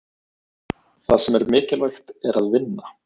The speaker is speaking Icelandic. Það sem er mikilvægt er að vinna.